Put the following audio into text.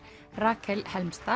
Rakel